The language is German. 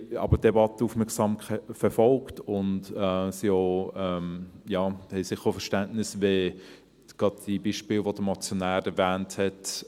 Wir haben die Debatte aber aufmerksam verfolgt und haben sicher auch Verständnis, gerade für Beispiele, wie sie der Motionär erwähnt hat.